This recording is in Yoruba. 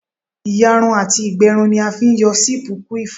Ìyarun àti ìgbẹrun ni a fi ń yọ séèpù quiff